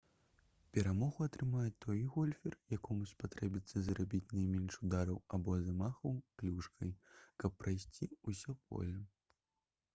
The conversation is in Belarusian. перамогу атрымае той гольфер якому спатрэбіцца зрабіць найменш удараў або замахаў клюшкай каб прайсці ўсё поле